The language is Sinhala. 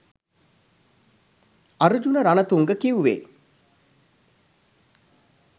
අර්ජුන රණතුංග කිව්වේ